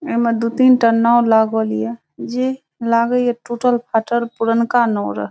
एमे दू तीन टा नाव लागाल ये जे लागे टूटल फाटएल पुरनका नाव रहे।